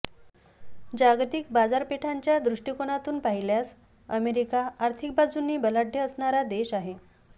जागतिक बाजारापेठांच्या दृष्टीकोनातून पाहिल्यास अमेरिका आर्थिक बाजूनी बलाढय़ असणारा देश आहे